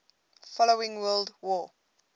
following world war